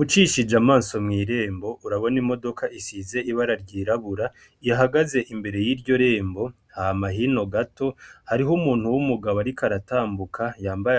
Ucishije amaso mw'irembo urabona imodoka isize iragi ryirabura ihagaze imbere yiryo rembo hama hino gato hariho umuntu w'umugabo ariko aratambuka